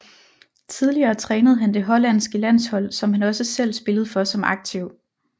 Tidligere trænede han det Hollandske landshold som han også selv spillede for som aktiv